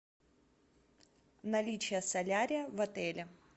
наличие солярия в отеле